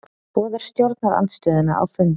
Boðar stjórnarandstöðuna á fund